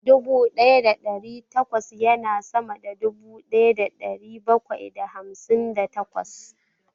Dubu ɗaya da ɗari takwas ya na sama da dubu ɗaya da ɗari bakwai da hamsin da takwas